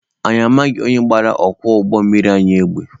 Anyi amaghị onye gbara ọkwọ ụgbọ mmiri anyị egbe.